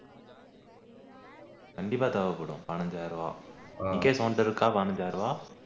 கண்டிப்பா தேவைப்படும் பதினைந்து ஆயிரம் ரூபா முகேஷ் உன்கிட்ட இருக்கா பதினைந்து ஆயிரம் ரூபா